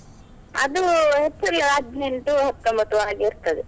ಅದು ಏಪ್ರಿಲ್ ಹದ್ನೆಂಟು, ಹತ್ತೊಂಬತ್ತು ಹಾಗೆ ಇರ್ತದೆ.